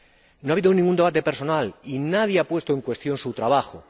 No ha habido ningún debate personal y nadie ha puesto en cuestión su trabajo.